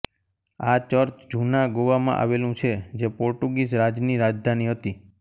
આ ચર્ચ જુના ગોવા માં આવેલું છે જે પોર્ટુગીઝ રાજની રાજધાની હતી